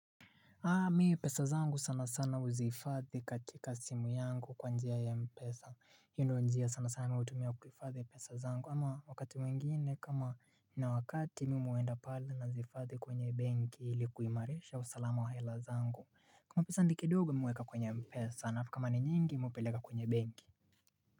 Haa mi pesa zangu sana sana huzi hifadhi katika simu yangu kwa njia ya mpesa hiyo ndio njia sana sana hutumia kuifadhi pesa zangu ama wakati wengine kama nina wakati mimi huenda pale nazi hifadhi kwenye benki ili kuimarisha usalama wa hela zangu kama pesa ni kidogo mimi hueka kwenye mpesa alafu kama ni nyingi mi hupeleka kwenye benki.